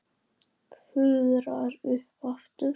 Fuðrar upp aftur.